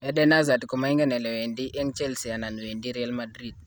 Eden Hazard komoigen elewedi eng Chelsea anan wendi Real Madrid